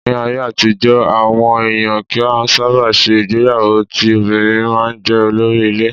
Ní ayé àtijọ́, àwọn èèyàn kì í sábà ṣe ìgbéyàwó ti obìnrin máa jẹ́ olórí ilé.